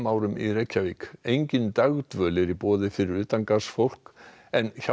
engin dagdvöl er í boði fyrir utangarðsfólk en Hjálpræðisherinn segist